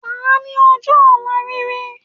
Wàá ní ojọ́ òla rere